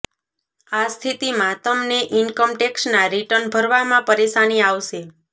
આ સ્થિતિમાં તમને ઇન્કમ ટેક્સના રિટર્ન ભરવામાં પરેશાની આવશે